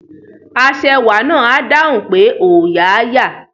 Aṣẹwà náà á dáhùn pé òòyà á yà